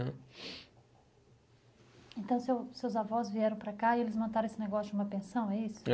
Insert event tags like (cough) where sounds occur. (unintelligible) Então seu seus avós vieram para cá e eles montaram esse negócio de uma pensão, é isso? É